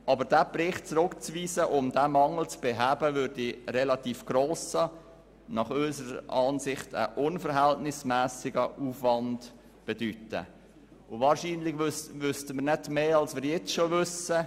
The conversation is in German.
Aber diesen Bericht zurückzuweisen, um diesen Mangel zu beheben, würde einen relativ grossen und unverhältnismässigen Aufwand bedeuten, und wahrscheinlich wüssten wir nicht mehr, als das, wir jetzt schon wissen.